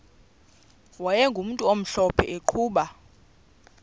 wayegumntu omhlophe eqhuba